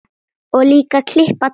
Og líka klippa tré.